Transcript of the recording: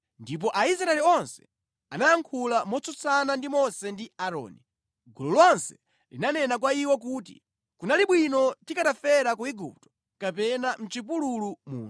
Ndipo Aisraeli onse anayankhula motsutsana ndi Mose ndi Aaroni. Gulu lonse linanena kwa iwo kuti, “Kunali bwino tikanafera ku Igupto kapena mʼchipululu muno!